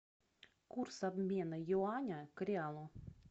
курс обмена юаня к реалу